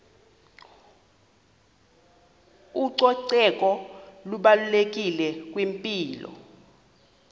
ucoceko lubalulekile kwimpilo